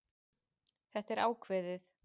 Þetta er ákveðið.